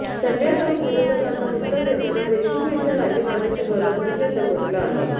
संजय राऊत विरोधकांना उत्तर देताना देशमुख यांच्या राजीनाम्याची गरज नसल्याचं म्हटलं आहे